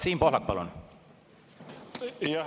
Siim Pohlak, palun!